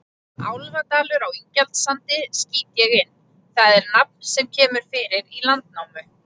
Álfadalur á Ingjaldssandi, skýt ég inn, það er nafn sem kemur fyrir í Landnámu.